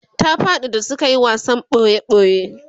ta faɗi da suke wasan boji boji